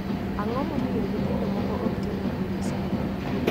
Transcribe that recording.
Ang'o mamiyo nyithindo moko ok tim maber e skul?